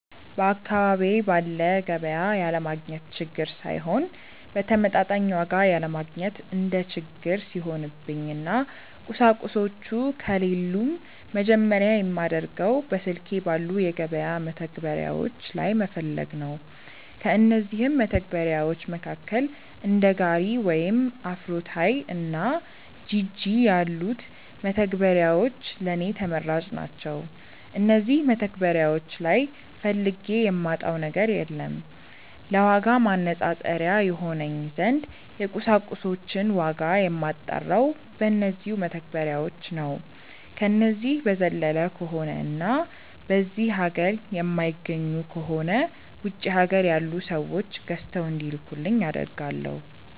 በአካባቢዬ ባለ ገቢያ ያለማግኘት ችግር ሳይሆን በተመጣጣኝ ዋጋ ያለማግኘት እንደ ችግር ሲሆንብኝ እና ቁሳቁሶቹ ከሌሉም መጀመርያ የማደርገው በስልኬ ባሉ የገበያ መተግበሪያዎች ላይ መፈለግ ነው። ከእነዚህም መተግበርያዎች መካከል እንደ ጋሪ ወይም አፍሮታይ እና ጂጂ ያሉት መተግበሪያዎች ለኔ ተመራጭ ናቸዉ። እነዚህ መተግበሪያዎች ላይ ፈልጌ የማጣው ነገር የለም። ለዋጋ ማነፃፀሪያ ይሆነኝ ዘንድ የቁሳቁሶችን ዋጋ የማጣራው በነዚው መተግበሪያዎች ነው። ከነዚህ በዘለለ ከሆነ እና በዚህ ሀገር የማይገኙ ከሆነ ውጪ ሀገር ያሉ ሰዎች ገዝተው እንዲልኩልኝ አደርጋለው።